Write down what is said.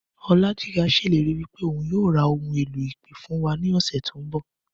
Ọlájigà ṣèlérí wípé ohun yíò ra ohun èlò ìpè fún wa ní ọ̀sẹ̀ tí o nbọ